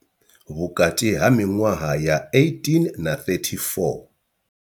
Vhukati ha miṅwaha ya 18 na 34.